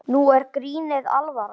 Nú er grínið alvara.